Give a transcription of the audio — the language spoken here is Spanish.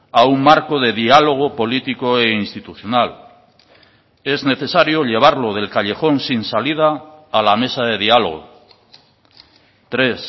a un marco de diálogo político e institucional es necesario llevarlo del callejón sin salida a la mesa de diálogo tres